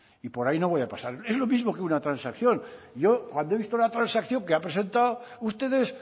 y por ahí no voy a pasar es lo mismo que una transacción yo cuando he visto la transacción que han presentado ustedes